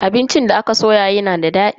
Abincin da aka soya yana da dadi.